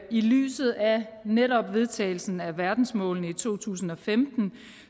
i lyset af netop vedtagelsen af verdensmålene i to tusind og femten